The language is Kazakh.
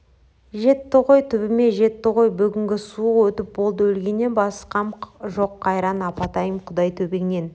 жетті ғой түбіме жетті ғой бүгінгі суық өтіп болды өлгеннен басқам жоқ қайран апатайым құдай төбеңнен